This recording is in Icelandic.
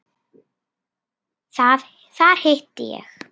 Þar hitti ég